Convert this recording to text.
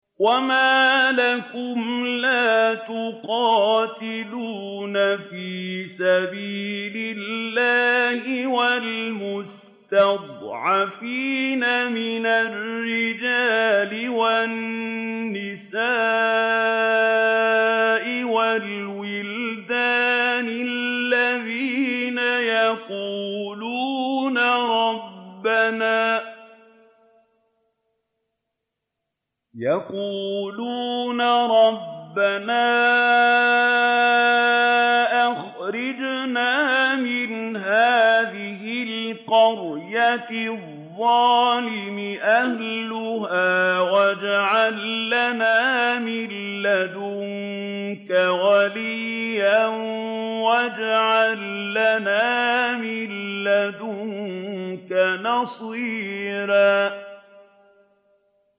وَمَا لَكُمْ لَا تُقَاتِلُونَ فِي سَبِيلِ اللَّهِ وَالْمُسْتَضْعَفِينَ مِنَ الرِّجَالِ وَالنِّسَاءِ وَالْوِلْدَانِ الَّذِينَ يَقُولُونَ رَبَّنَا أَخْرِجْنَا مِنْ هَٰذِهِ الْقَرْيَةِ الظَّالِمِ أَهْلُهَا وَاجْعَل لَّنَا مِن لَّدُنكَ وَلِيًّا وَاجْعَل لَّنَا مِن لَّدُنكَ نَصِيرًا